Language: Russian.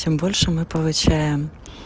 тем больше мы получаем